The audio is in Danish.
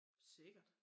Sikkert